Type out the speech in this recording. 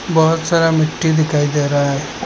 बहुत सारा मिट्टी दिखाई दे रहा है।